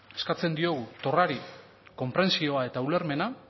eskatzen diogu torrari konprentsioa eta ulermena